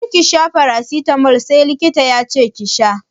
Kar ki sha farasitamol sai likita yace ki sha!